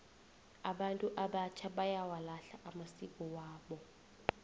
abantu abatjha bayawalahla amasiko wabo